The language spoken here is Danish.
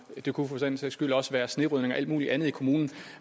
det kunne for den sags skyld også være snerydning og alt muligt andet i kommunen